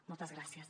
moltes gràcies